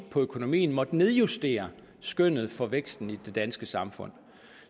på økonomien måttet nedjustere skønnet for væksten i det danske samfund